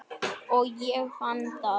Og ég fann það.